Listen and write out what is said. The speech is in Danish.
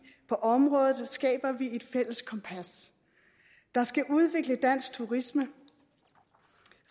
på området skaber vi et fælles kompas der skal udvikle dansk turisme